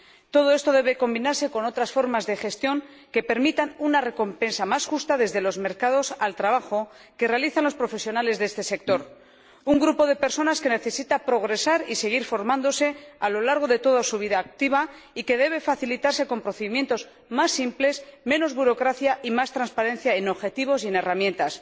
Todo esto debe combinarse con otra formas de gestión que permitan una recompensa más justa al trabajo que realizan los profesionales de este sector, un grupo de personas que necesita progresar y seguir formándose a lo largo de toda su vida activa, y que deben facilitarse con procedimientos más simples, menos burocracia y más transparencia en objetivos y en herramientas.